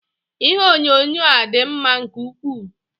Ihe onyonyo a dị mma nke ukwuu.